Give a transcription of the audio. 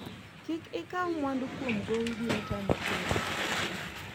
kik ikaw mwandu kuom gowi biro tami chulo